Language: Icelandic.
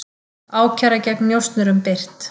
Ákæra gegn njósnurum birt